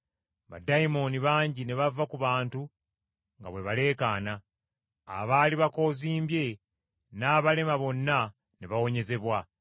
Baddayimooni bangi ne bava ku bantu nga bwe baleekaana; abaali bakoozimbye n’abalema bonna ne bawonyezebwa;